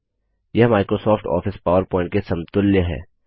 यह Microsoft Office PowerPoint के समतुल्य है